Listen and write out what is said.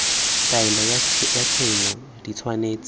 taelo ya tshenyo di tshwanetse